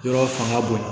Yɔrɔ fanga bonyana